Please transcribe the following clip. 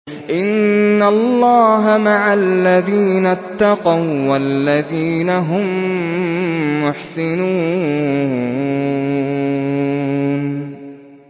إِنَّ اللَّهَ مَعَ الَّذِينَ اتَّقَوا وَّالَّذِينَ هُم مُّحْسِنُونَ